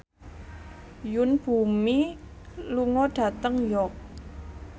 Yoon Bomi lunga dhateng York